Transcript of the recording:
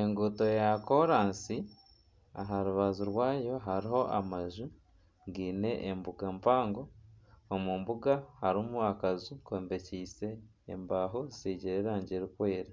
Enguuto ya koraansi aha rubaju rwayo hariho amaju gaine embuga mpango omu mbuga harimu akaju kombekyeise embaaho zisigire erangi erikwera,